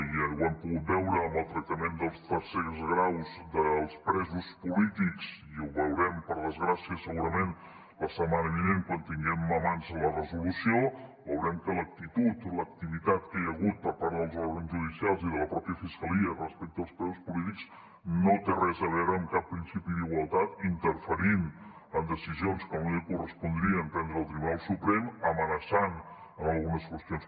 i ho hem pogut veure en el tractament dels tercers graus dels presos polítics i ho veurem per desgràcia segurament la setmana vinent quan tinguem a mans la resolució veurem que l’actitud o l’activitat que hi ha hagut per part dels òrgans judicials i de la mateixa fiscalia respecte als presos polítics no té res a veure amb cap principi d’igualtat interferint en decisions que no li correspondria prendre al tribunal suprem amenaçant en algunes qüestions